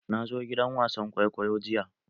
Na zo gidan wasan kwaikwayo jiya.